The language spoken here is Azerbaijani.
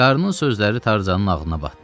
Qarnın sözləri Tarzanın ağlına batdı.